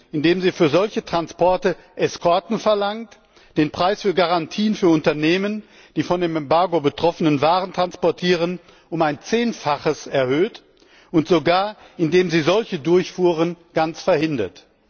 indem sie für solche Transporte Eskorten verlangt, den Preis für Garantien für Unternehmen, die von dem Embargo betroffene Waren transportieren, um ein Zehnfaches erhöht und sogar indem sie solche Durchfuhren ganz verhindert.